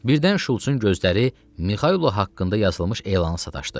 Birdən Şultsun gözləri Mixaylo haqqında yazılmış elana sataşdı.